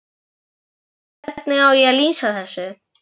Ég spyr: Hvernig á ég að lýsa þessu?